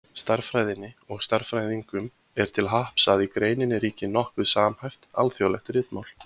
Stærðfræðinni og stærðfræðingum er til happs að í greininni ríkir nokkuð samhæft, alþjóðlegt ritmál.